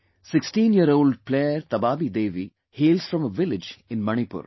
16 year old player Tabaabi Devi hails from a village in Manipur